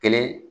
Kelen